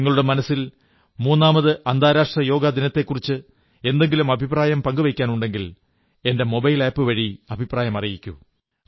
നിങ്ങളുടെ മനസ്സിൽ മൂന്നാമത് അന്താരാഷ്ട്ര യോഗ ദിനത്തെക്കുറിച്ച് എന്തെങ്കിലും അഭിപ്രായം പങ്കുവയ്ക്കാനുണ്ടെങ്കിൽ എന്റെ മൊബൈൽ ആപ് വഴി അഭിപ്രായം അറിയിക്കൂ